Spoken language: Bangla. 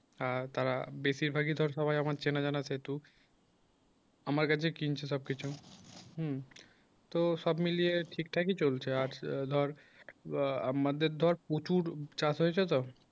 আর তারা বেশিরভাগই ধর সবাই আমার চেনাজানা যেহেতু আমার কাছে কিনছে সবকিছু হুম তো সব মিলিয়ে ঠিক থাকি চলছে আর ধর আ আমাদের ধর প্রচুর চাষ হয়েছে তো